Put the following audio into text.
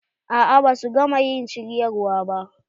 A'a ba su gama ƴin shiryawar ba.